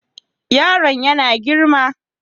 Yaron yana girma.